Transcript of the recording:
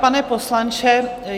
Pane poslanče.